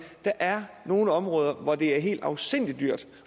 der er nogle områder hvor det er helt afsindig dyrt